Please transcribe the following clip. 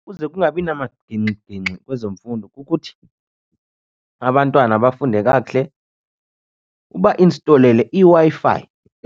Ukuze kungabi namagingxigingxi kwezemfundo kukuthi abantwana bafunde kakuhle. Ubayinstolele iWi-Fi